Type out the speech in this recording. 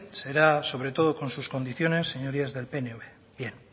será sobre todo con sus condiciones señorías del pnv bien